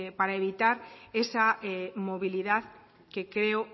para evitar esa movilidad que creo